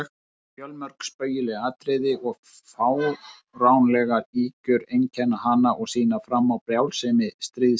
Fjölmörg spaugileg atriði og fáránlegar ýkjur einkenna hana og sýna fram á brjálsemi stríðsins.